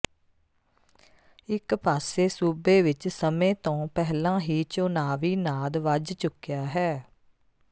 ਇਕ ਪਾਸੇ ਸੂਬੇ ਵਿਚ ਸਮੇਂ ਤੋਂ ਪਹਿਲਾਂ ਹੀ ਚੋਣਾਵੀ ਨਾਦ ਵੱਜ ਚੁੱਕਿਆ ਹੈ